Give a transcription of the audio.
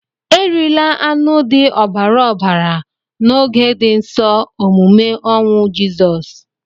Erila anụ dị ọbara ọbara na oge di nsọ omume ọnwụ jisọs!!